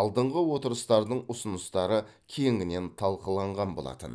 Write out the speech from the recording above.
алдыңғы отырыстардың ұсыныстары кеңінен талқыланған болатын